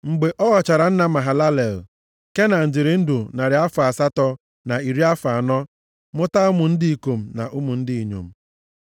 Mgbe ọ ghọchara nna Mahalalel, Kenan dịrị ndụ narị afọ asatọ na iri afọ anọ mụta ụmụ ndị ikom na ụmụ ndị inyom.